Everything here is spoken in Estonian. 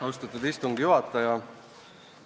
Austatud istungi juhataja!